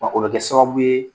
Wa o bɛ kɛ sababu ye,